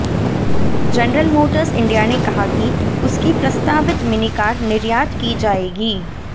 general Motors India ने कहा कि उसकी प्रस्तावित मिनी कार निर्यात की जाएगी